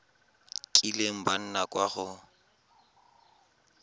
kileng ba nna kwa go